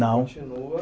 Não. Continua